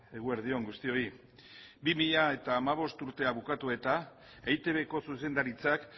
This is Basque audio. eguerdi on guztioi bi mila hamabost urtea bukatu eta eitbko zuzendaritzak